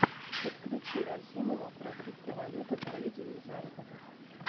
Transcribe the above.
подключи рахимова про криптовалюта трейдинг заработок